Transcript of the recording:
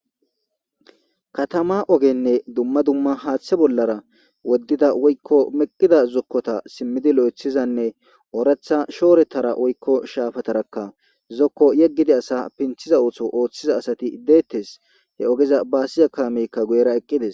katama ogenne dumma dumma haaththe bollara woddida woykko meqqida zokkota simmidi lo7ethizanne ooretha shoorettara woykko shaafatarakka zokko yeggidi asa pinthiza ootho ooththiza asati iddeettes he ogeza baasi akamekka guyera eqqides